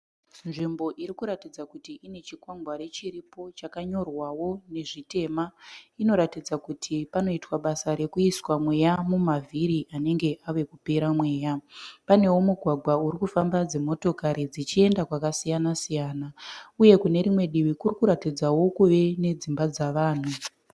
Nzvimbo irikuratidza kuti panezvikwangwari chiripo chakanyorwawo nezvitema. Inoratidza kuti panoitwa basa rekuisa mweya mumavhiri anenge ava kupera mweya. Panevo mugwagwa urikufamba dzimotokari dzichienda kwakasiyana siyana uye kunerimwe divi kurikuratidzawo kuve nedzimba dzavanhu.